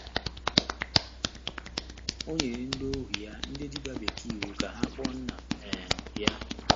O nyere “ndị ohu ya, ndị dibia bekee, iwu ka ha kpoo nna um ya.”